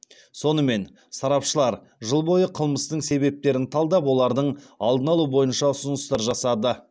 сонымен сарапшылар жыл бойы қылмыстың себептерін талдап олардың алдын алу бойынша ұсыныстар жасады